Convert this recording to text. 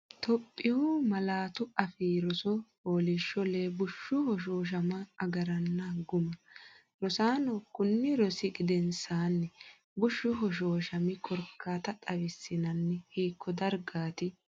Itophiyu Malaatu Afii Roso FOOLIISHSHO LEE BUSHSHU HOSHOOSHAMA AGARRANNI GUMMA Rosaano kunni rosi gedensaanni: Bushshu hoshooshami korkaata xawissinanni, hiikko dargaati?